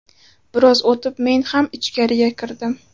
Biroz o‘tib men ham ichkariga kirdim.